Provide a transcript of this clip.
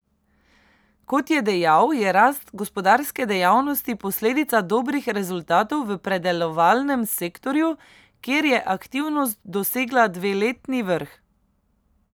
Kot je dejal, je rast gospodarske dejavnosti posledica dobrih rezultatov v predelovalnem sektorju, kjer je aktivnost dosegla dveletni vrh.